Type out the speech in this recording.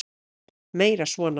Meira svona!